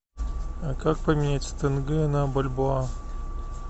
как поменять тенге на бальбоа